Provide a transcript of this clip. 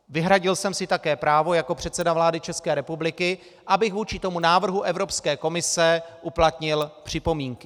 Vyhradil jsem si také právo jako předseda vlády České republiky, abych vůči tomu návrhu Evropské komise uplatnil připomínky.